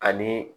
Ani